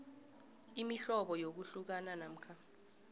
imihlobo yokuhlukana namkha